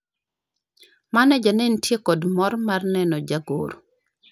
maneja ne nitie kod mor mar neno jagoro